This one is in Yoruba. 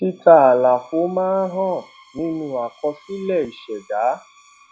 títa àlàfo máa ń hàn nínú àkọsílẹ ìṣèdá